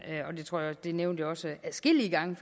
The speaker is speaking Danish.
det nævnte også adskillige gange